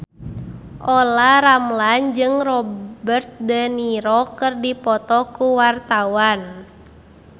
Olla Ramlan jeung Robert de Niro keur dipoto ku wartawan